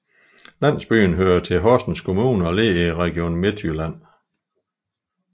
Landsbyen hører tii Horsens Kommune og ligger i Region Midtjylland